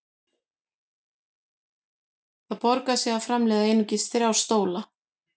Það borgar sig því að framleiða einungis þrjá stóla.